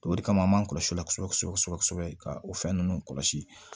O de kama an m'an kɔlɔsi o la kosɛbɛ kosɛbɛ kosɛbɛ ka o fɛn ninnu kɔlɔsi